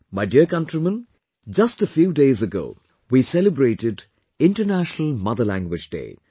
My dear countrymen, just a few days ago, we celebrated International Mother Language Day